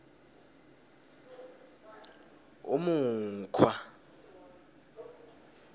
umukhwa